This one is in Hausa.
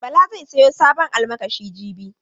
Bala zai sayi sabon almakashi jibi.